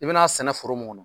I bɛna sɛnɛ foro mun kɔnɔ